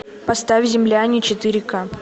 поставь земляне четыре ка